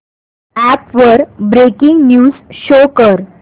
app वर breaking news show कर